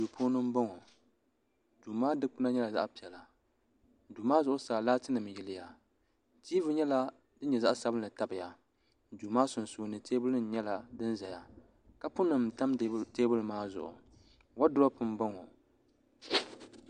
duu puuni m-bɔŋɔ duu maa dukpuna nyɛla zaɣ' piɛla duu maa zuɣusaa laatinima n-yiliya tiivi nyɛla din nyɛ zaɣ' sabinli n-tabi ya duu maa sunsuuni teebuli nima nyɛla din ʒeya kaapunima m-tam teebuli maa zuɣu wɔduropu m-bɔŋɔ.